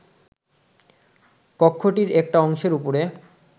কক্ষটির একটি অংশের উপরে